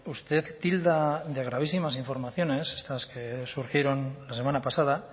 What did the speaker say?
usted tilda de gravísimas informaciones estas que surgieron la semana pasada